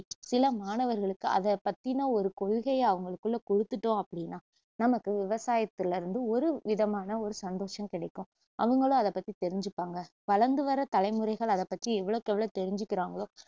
சில மாணவர்களுக்கு அதை பத்தின ஒரு கொள்கையை அவங்களுக்குள்ள கொடுத்துட்டோம் அப்படின்னா நமக்கு விவசாயத்துலருந்து ஒரு விதமான ஒரு சந்தோஷம் கிடைக்கும் அவங்களும் அதைத பத்தி தெரிஞ்சுப்பாங்க வளர்ந்து வர்ற தலைமுறைகள் அதைப்பத்தி எவவளவுக்கெவ்ளோ தெரிஞ்சுக்குறாங்களோ